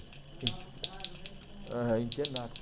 Morava, ah, no mesmo... Internato.